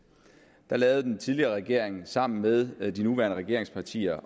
der lavede den tidligere regering sammen med den nuværende regerings partier